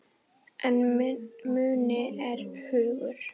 En muni er hugur.